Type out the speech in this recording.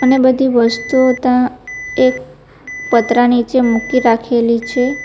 અને બધી વસ્તુઓ તાં એક પતરા નીચે મૂકી રાખેલી છે.